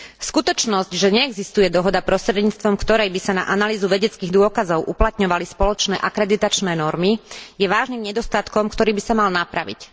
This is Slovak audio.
Skutočnosť, že neexistuje dohoda, prostredníctvom ktorej by sa na analýzu vedeckých dôkazov uplatňovali spoločné akreditačné normy, je vážnym nedostatkom, ktorý by sa mal napraviť.